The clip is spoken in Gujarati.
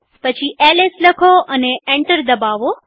પછી એલએસ લાખો અને એન્ટર દબાવો